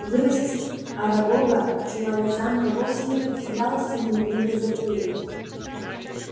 вырастить арагога в чулане замка вовсе не представлялось ему невинной затеей